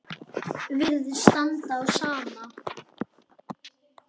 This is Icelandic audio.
Virðist standa á sama.